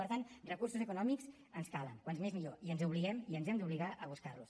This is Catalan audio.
per tant recursos econòmics ens en calen com més millor i ens obliguem i ens hem d’obligar a buscar los